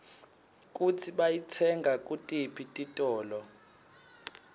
kutsi bayitsenga kutiphi titolo